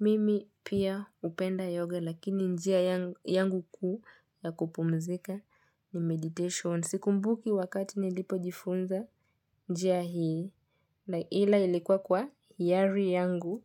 Mimi pia hupenda yoga, lakini njia yangu kuu ya kupumzika ni meditation. Si kumbuki wakati nilipojifunza njia hii. Ila ilikuwa kwa hiari yangu.